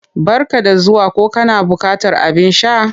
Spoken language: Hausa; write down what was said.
Barka da zuwa ko kana buƙatar abin sha?